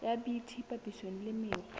ya bt papisong le mekgwa